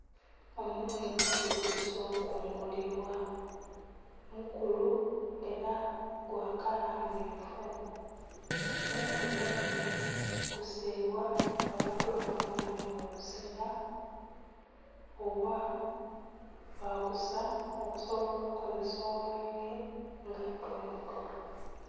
Omughemba gutuse okungulibwa mukulu era gwakala mmyufu. Omughemba guno gusimbwa abantu bafunhamu obusera oba bagusa okusobola okazesa omwenge nga tonto.